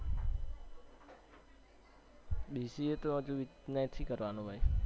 BCA તો હજી નથી કરવાનું ભાઈ